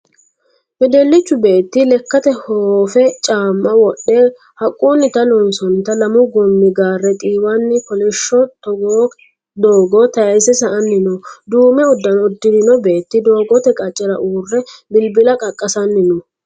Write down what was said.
Wedellichu beetti lekkate hoofe caamma wodhe haqqunita loonsoonnita lamu goomi gaare xiiwanni kolishsho doogo taayise sa'anni no. Duume uddano uddirino beetti doogote qaccera uurri bilbila qaqqasanni no.